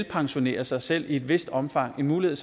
pensionere sig selv i et vist omfang en mulighed